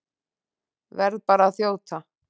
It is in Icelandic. Verð bara að þjóta!